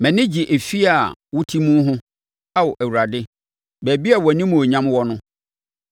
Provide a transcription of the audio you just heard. Mʼani gye efie a wote mu ho, Ao Awurade, baabi a wʼanimuonyam wɔ no.